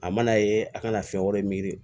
A mana ye a kana fɛn wɛrɛ miiri